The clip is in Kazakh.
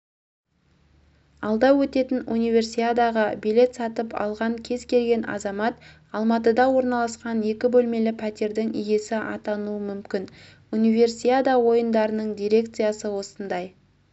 алда өтетін универсиадаға билет сатып алған кез келген азамат алматыда орналасқан екі бөлмелі пәтердің иесі атануы мүмкін универсиада ойындарының дирекциясы осындай